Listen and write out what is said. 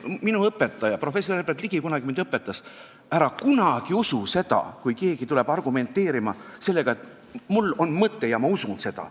Minu õpetaja professor Herbert Ligi õpetas mind kunagi: "Ära kunagi usu seda, kui keegi tuleb argumenteerima sellega, et mul on mõte ja ma usun seda.